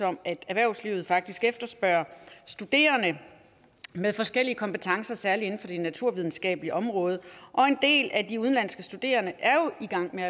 om at erhvervslivet faktisk efterspørger studerende med forskellige kompetencer særlig inden for det naturvidenskabelige område og en del af de udenlandske studerende er jo i gang med